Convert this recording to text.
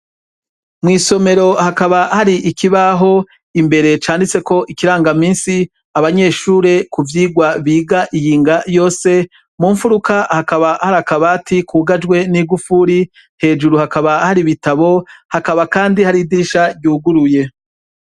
Mw'isomero hakaba hari ikibaho canditseko ikirangamisi c'ivyirwa abanyeshure biga iyinga yose ,mumfuruka hakaba hari akabati kugajwe n'igufuri, hejuru hakaba hari ibitabo, hakaba kandi har'idirisha ryuguruye.